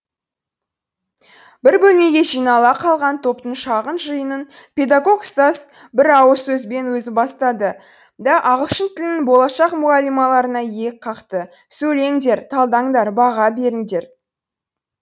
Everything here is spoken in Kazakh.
бір бөлмеге жинала қалған топтың шағын жиынын педагог ұстаз бір ауыз сөзбен өзі бастады да ағылшын тілінің болашақ мұғалималарына иек қақты сөйлеңдер талдаңдар баға беріңдер